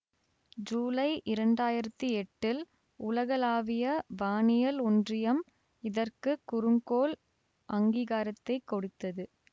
ஜூலை இரண்டு ஆயிரத்தி எட்டில் உலகளாவிய வானியல் ஒன்றியம் இதற்கு குறுங்கோள் அங்கீகாரத்தைக் கொடுத்தது